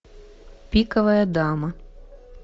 пиковая дама